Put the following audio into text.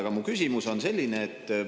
Aga mu küsimus on selline.